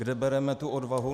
Kde bereme tu odvahu?